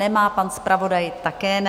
Nemá, pan zpravodaj také ne.